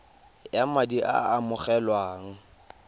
ya madi a a amogelwang